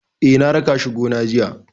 Eh, na raka shi gona jiya.